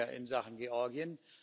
Das tun wir in Sachen Georgien.